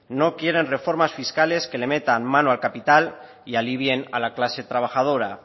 no quieren reformas fiscales que le metan malo al capital y alivien a la clase trabajadora